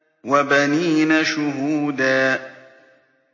وَبَنِينَ شُهُودًا